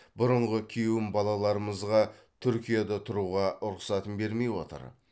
бұрынғы күйеуім балаларымызға түркияда тұруға рұқсатын бермей отыр